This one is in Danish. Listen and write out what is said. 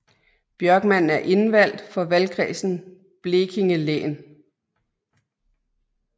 Björkman er indvaldt for valgkredsen Blekinge län